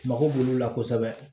Mago b'olu la kosɛbɛ